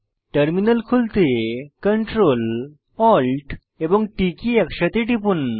terminal খুলতে CTRL Alt এবং T key একসাথে টিপুন